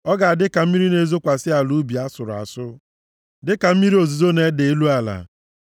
Ọ ga-adị ka mmiri na-ezokwasị ala ubi a sụrụ asụ, dịka mmiri ozuzo na-ede elu ala.